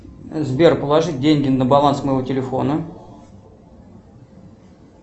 сбер положи деньги на баланс моего телефона